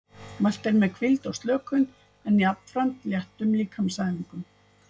Mælt er með hvíld og slökun en jafnframt léttum líkamsæfingum.